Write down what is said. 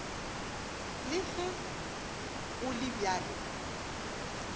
le ge go le bjalo